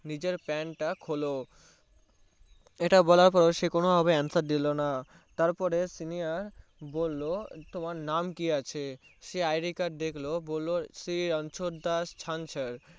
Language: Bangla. নিজের Pant তা খোললো ইটা বলার পর সে কোনো ভাবে আনসার দিলোনা তারপরে Senior বললো তোমার নাম কি আচে সে IDCard দেখে বললো শ্রী রনছর দশ ছানছার